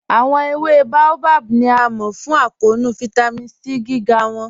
Awọn èwé Baobab ni a mọ fún àkọọ̀nù Vitamin C gígá wọn.